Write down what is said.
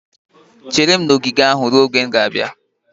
Chere m na ogige ahụ ruo mgbe m ga-abịa!